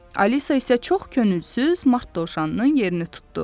Alisa isə çox könülsüz mart dovşanının yerini tutdu.